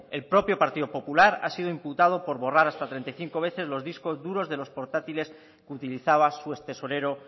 el propio partido popular ha sido imputado por borrar hasta treinta y cinco veces los discos duros de los portátiles que utilizaba su extesorero